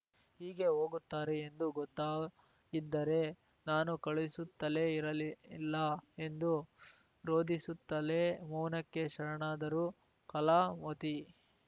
ಹೀಗೆ ಹೋಗುತ್ತಾರೆ ಎಂದು ಗೊತ್ತಾಗಿದ್ದರೆ ನಾನು ಕಳುಹಿಸುತ್ತಲೇ ಇರಲಿಲ್ಲ ಎಂದು ರೋದಿಸುತ್ತಲೇ ಮೌನಕ್ಕೆ ಶರಣಾದರು ಕಲಾವತಿ